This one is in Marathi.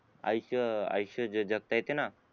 आयुष्य आयुष्य जे जगता येतेना